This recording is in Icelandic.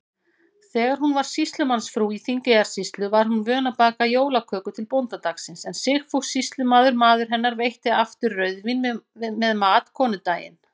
Þegar hún var sýslumannsfrú í Þingeyjarsýslu, var hún vön að baka jólaköku til bóndadagsins, en Sigfús sýslumaður, maður hennar, veitti aftur rauðvín með mat konudaginn.